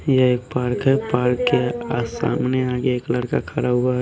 यह एक पार्क है पार्क के सामने आगे एक लड़का खड़ा हुआ है।